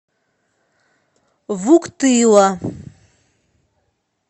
вуктыла